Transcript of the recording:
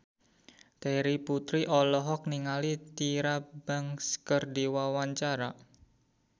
Terry Putri olohok ningali Tyra Banks keur diwawancara